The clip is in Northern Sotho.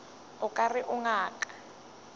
o ka re o ngaka